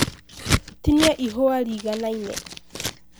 Tinia ĩhũa rĩiganaine.